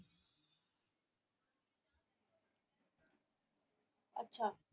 ਅੱਛਾ।